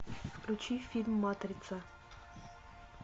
включи фильм матрица